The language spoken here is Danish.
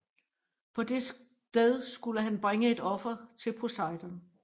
På det sted skulle han bringe et offer til Poseidon